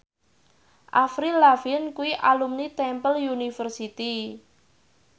Avril Lavigne kuwi alumni Temple University